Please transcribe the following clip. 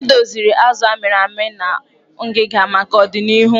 E doziri azụ a mịrị amị na ngịga maka odịnihu.